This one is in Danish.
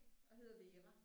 Og hedder Vera